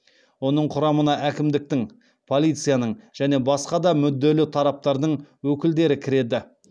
оның құрамына әкімдіктің полицияның және басқа да мүдделі тараптардың өкілдері кіреді